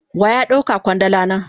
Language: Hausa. Waya dauka kwandala na?